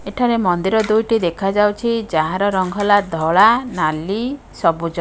ଏଠାରେ ମନ୍ଦିର ଦୁଇଟି ଦେଖାଯାଉଛି ଯାହାର ରଙ୍ଗ ହେଲା ଧଳା ନାଲି ସବୁଜ।